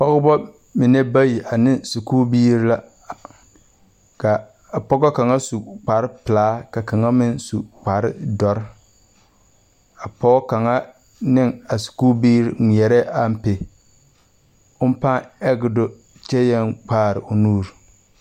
Pɔgebamine bayi ne sakubiiri la ka a pɔge kaŋa su kparepelaa ka kaŋa meŋ su kparedɔre a pɔge kaŋa ne a sakubiiri ŋmeɛrɛɛ ampe o pãã age do kyɛ yɛŋ kpaare o nuuri.